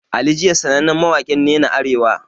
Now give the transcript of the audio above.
Ali jiya sanannen mawakin nena Arewa